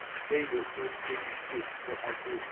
peile o sekišitšwe o ahlotšwe